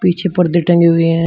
पीछे पर्दे टंगे हुए हैं।